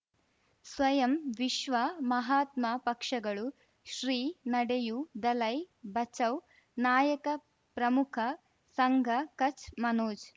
ಸ್ವಯಂ ವಿಶ್ವ ಮಹಾತ್ಮ ಪಕ್ಷಗಳು ಶ್ರೀ ನಡೆಯೂ ದಲೈ ಬಚೌ ನಾಯಕ ಪ್ರಮುಖ ಸಂಘ ಕಚ್ ಮನೋಜ್